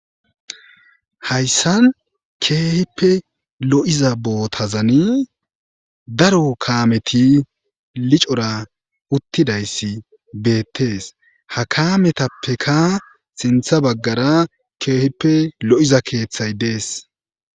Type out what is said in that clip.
Hayssan keehippe lo'iza bootazani daro kaammeti licoraa uttidayssi beettees. Ha kaametappeka sintta baggara keehippe lo'iza keeththay dees.